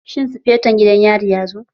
Shin sufeto gidan yarin ya zo?